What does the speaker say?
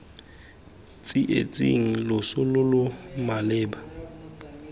tsietsing loso lo lo malepa